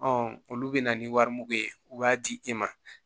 olu bɛ na ni wari mugu ye u b'a di e ma